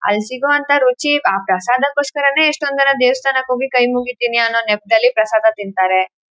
ಅಲ್ಲಿ ಸಿಗುವಂತ ರುಚಿ ಆ ಪ್ರಸಾದಗೋಸ್ಕರನೇ ಎಷ್ಟೊನ ಜನ ದೇವಸ್ಥಾನಕ್ಕೆ ಹೋಗಿ ಕೈ ಮುಗಿತ್ತಿನಿ ಅನ್ನೋ ನೆಪದಲ್ಲಿ ಪ್ರಸಾದ ತಿನ್ನತ್ತಾರೆ.